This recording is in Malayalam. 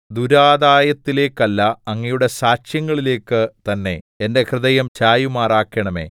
ദുരാദായത്തിലേക്കല്ല അങ്ങയുടെ സാക്ഷ്യങ്ങളിലേക്കു തന്നെ എന്റെ ഹൃദയം ചായുമാറാക്കണമേ